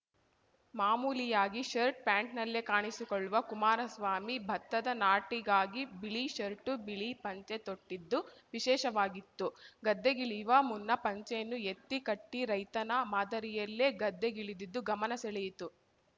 ಮಾಮೂಲಿಯಾಗಿ ಶರ್ಟ್‌ ಪ್ಯಾಂಟ್‌ನಲ್ಲೇ ಕಾಣಸಿಕೊಳ್ಳುವ ಕುಮಾರಸ್ವಾಮಿ ಭತ್ತದ ನಾಟಿಗಾಗಿ ಬಿಳಿ ಷರ್ಟು ಬಿಳಿ ಪಂಚೆ ತೊಟ್ಟಿದ್ದು ವಿಶೇಷವಾಗಿತ್ತು ಗದ್ದೆಗಿಳಿಯುವ ಮುನ್ನ ಪಂಚೆಯನ್ನು ಎತ್ತಿ ಕಟ್ಟಿರೈತನ ಮಾದರಿಯಲ್ಲೇ ಗದ್ದೆಗಿಳಿದಿದ್ದು ಗಮನ ಸೆಳೆಯಿತು